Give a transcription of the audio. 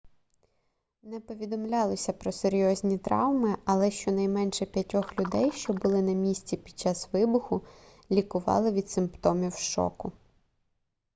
не повідомлялося про серйозні травми але щонайменше п'ятьох людей що були на місці під час вибуху лікували від симптомів шоку